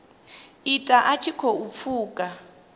ita a tshi khou pfuka